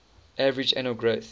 average annual growth